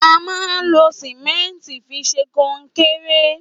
À mà ń lo símẹntì físè kónkẹrẹ